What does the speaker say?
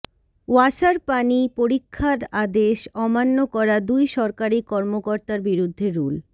ওয়াসার পানি পরীক্ষার আদেশ অমান্য করা দুই সরকারি কর্মকর্তার বিরুদ্ধে রুল